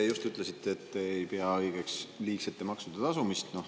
Te just ütlesite, et te ei pea õigeks liigsete maksude tasumist.